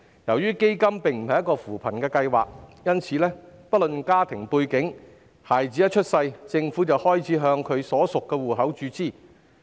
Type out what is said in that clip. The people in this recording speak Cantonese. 由於基金並非扶貧計劃，所以不論家庭背景，孩子一出世，政府便開始向其所屬戶口注資。